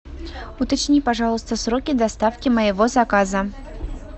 уточни пожалуйста сроки доставки моего заказа